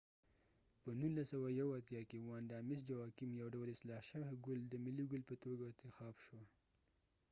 په 1981 کې ، واندا مس جواکېم vanda mis joaquim یو ډول اصلاح شوي ګل د ملی ګل په توګه اتخاب شو